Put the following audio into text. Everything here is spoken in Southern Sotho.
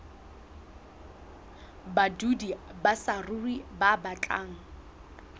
badudi ba saruri ba batlang